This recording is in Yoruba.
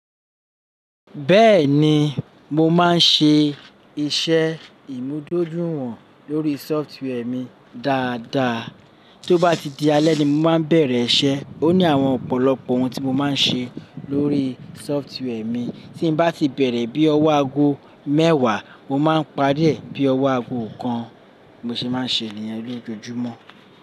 Bẹ́ẹ̀ni, mo máa ń ṣe iṣẹ́ ìmúdójúìwọ̀n lórí sọfitwẹ́ẹ̀ mi dáadáa. Tó bá ti di alẹ́ ni mo máa bẹ̀rẹ̀ iṣẹ́. Ó ní àwọn ọ̀pọ̀lọpọ̀ ohun tí mo máa ń ṣe lórí sọfitwẹ́ẹ̀ mi. Tí n bá ti bẹ̀rẹ̀ bí ọwọ́ ago mẹ́wàá, mo máa parí ẹ̀ bí ọwọ́ ago kan. Mo ṣì máa ń ṣe nìyẹn lójoojúmọ́.